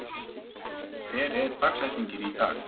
Henning, hver er dagsetningin í dag?